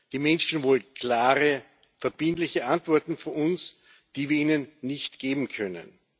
Die Menschen wollen klare, verbindliche Antworten von uns, die wir ihnen nicht geben können.